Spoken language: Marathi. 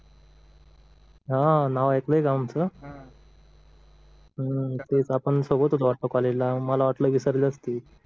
हम्म नाव ऐकलं का आमचं हम्म तेच आपण सोबत होतो वाटतं कॉलेजला मला वाटलं विसरले असतील